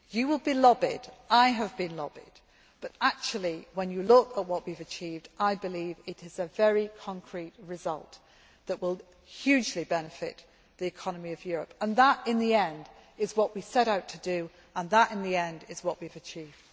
You will be lobbied I have been lobbied but actually, when you look at what we have achieved, I believe it is a very concrete result that will hugely benefit the economy of Europe. That, in the end, is what we set out to do, and that, in the end, is what we have achieved.